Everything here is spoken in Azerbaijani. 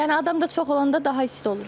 Yəni adam da çox olanda daha isti olur.